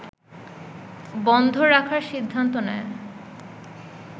বন্ধ রাখার সিদ্ধান্ত নেয়